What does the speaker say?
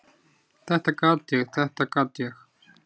"""Þetta gat ég, þetta gat ég!"""